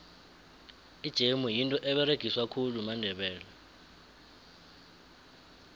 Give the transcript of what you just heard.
ijemu yinto eberegiswa khulu mandebele